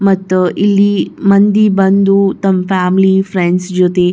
ಮತ್ತ ಇಲ್ಲಿ ಮಂದಿ ಬಂದು ತಮ್ಮ ಫ್ಯಾಮಿಲಿ ಫ್ರೆಂಡ್ಸ್ ಜೊತೆ --